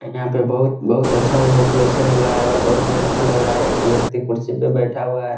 यहाँ पे बहुत बहुत अच्छा डेकोरेशन हुआ है और बहुत ही अच्छा लग रहा है और एक व्यक्ति कुर्सी पे बैठा हुआ है।